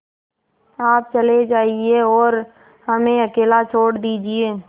आप चले जाइए और हमें अकेला छोड़ दीजिए